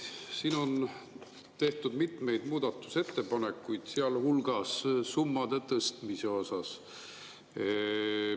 Siin on tehtud mitmeid muudatusettepanekuid, sealhulgas summade tõstmise kohta.